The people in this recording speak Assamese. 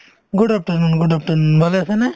good afternoon good afternoon ভালে আছেনে ?